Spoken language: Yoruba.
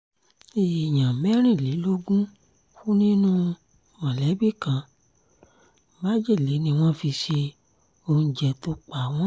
èèyàn mẹ́rìnlélógún kú nínú mọ̀lẹ́bí kan májèlé ni wọ́n fi se oúnjẹ tó pa wọ́n